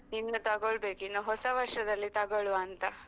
ಇನ್ನು ತಗೊಳ್ಬೇಕು, ಇನ್ನು ಹೊಸ ವರ್ಷದಲ್ಲಿ ತಗೊಳುವಾಂತ.